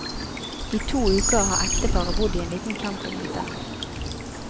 I to uker har ekteparet bodd i en liten campinghytte.